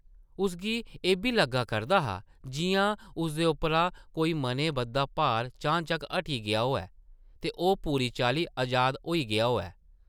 उसगी एʼब्बी लग्गा करदा हा जिʼयां उसदे उप्परा कोई मनें बद्धा भार चानचक्क हटी गेआ होऐ, ते ओह् पूरी चाल्ली अजाद होई गेआ होऐ ।